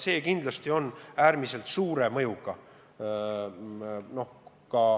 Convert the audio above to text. See kindlasti on äärmiselt suure mõjuga.